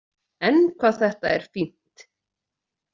En hvað þetta er fínt!